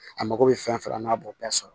A mago bɛ fɛn fɛn na n'a b'o bɛɛ sɔrɔ